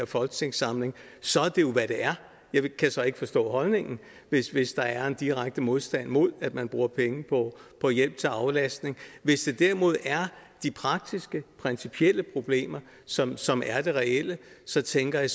folketingssamling så er det jo hvad det er jeg kan så ikke forstå holdningen hvis hvis der er en direkte modstand mod at man bruger penge på hjælp til aflastning hvis det derimod er de praktiske principielle problemer som som er det reelle så tænker jeg